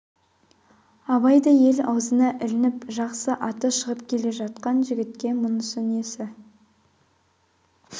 абайдай ел аузына ілініп жақсы аты шығып келе жатқан жігітке мұнысы несі